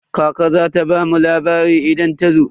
Kaka za ta bamu labari idan ta zo.